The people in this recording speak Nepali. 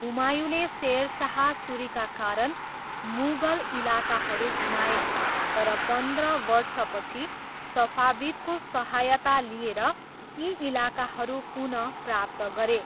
हुमायूँले सेर शाह सुरीका कारण मुगल इलाकाहरू गुमाए, तर पन्ध्र वर्षपछि सफाविदको सहायता लिएर यी इलाकाहरू पुनः प्राप्त गरे।